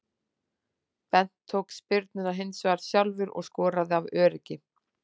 Bent tók spyrnuna hinsvegar sjálfur og skoraði af öryggi.